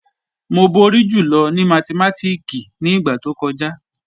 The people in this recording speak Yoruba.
Mo bọ̀rí jùlọ̀ ni mátìmátíkì ni igba tó kọja.